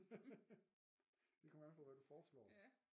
Det kommer an på hvad du foreslår